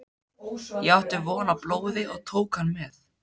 Ég átti von á blóði og tók hann með.